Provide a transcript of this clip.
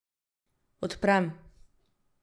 Odprem.